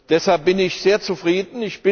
Deshalb bin ich sehr zufrieden.